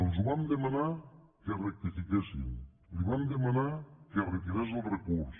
els vam demanar que rectifiquessin li vam demanar que retirés el recurs